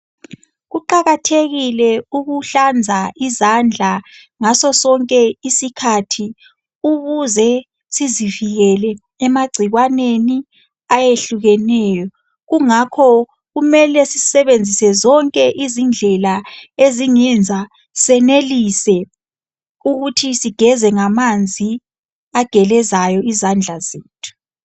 Kuqakathekile ukuhlanza izandla ngasosinke isikhathi ukuze sizivilele emagciwaneni ayehlukeneyo. Kungakho kumele sisebenzise zonke izindlela ezingenza senelise ukuthi sigeze ngamanzi agelezayo izandla zethu.